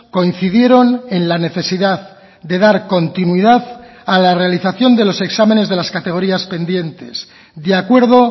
coincidieron en la necesidad de dar continuidad a la realización de los exámenes de las categorías pendientes de acuerdo